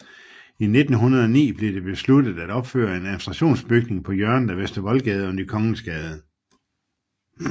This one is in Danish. I 1909 blev det besluttet at opføre en administrationsbygning på hjørnet af Vester Voldgade og Ny Kongensgade